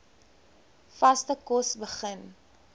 vaste kos begin